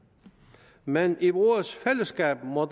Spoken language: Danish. men i vores fællesskab må